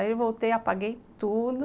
Daí eu voltei, apaguei tudo.